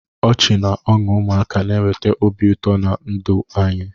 Ọchị na ọṅụ ụmụaka na-eweta obi ụtọ na ndụ anyị.